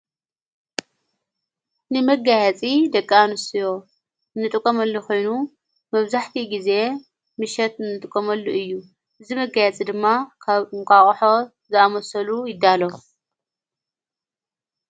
ንመጋያፂ ደቂ ኣንስትዮ እንጥቀመሉ ኾይኑ መብዛሕቲኡ ጊዜ ምሸት እንጥቀመሉ እዩ፡፡ እዚ መጋያፂ ድማ ካብ እንቋቕሖ ዝኣመሰሉ ይዳሎ፡፡